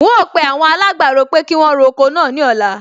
N óò pe awon alágbàro pé kí wọn ro oko náà ní ọ̀la